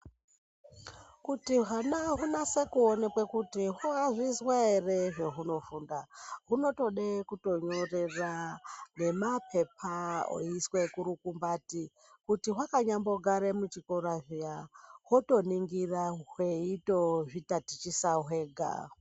Kuti hwana hunase kuonekwa kuti hwazvizwa here zvehunofunda zvinotode kunyorera mapepa oiswa kurukumbati kuti hwakanyambogara muchikora zviya hwotoningira hweitozvi tatichisa hwega.